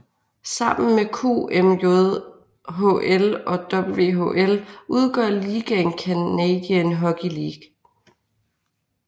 Sammen med QMJHL og WHL udgør ligaen Canadian Hockey League